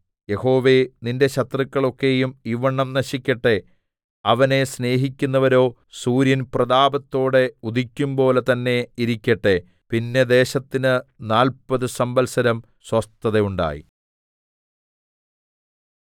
യഹോവേ നിന്റെ ശത്രുക്കൾ ഒക്കെയും ഇവ്വണ്ണം നശിക്കട്ടെ അവനെ സ്നേഹിക്കുന്നവരോ സൂര്യൻ പ്രതാപത്തോടെ ഉദിക്കുമ്പോലെ തന്നെ ഇരിക്കട്ടെ പിന്നെ ദേശത്തിന് നാല്പത് സംവത്സരം സ്വസ്ഥത ഉണ്ടായി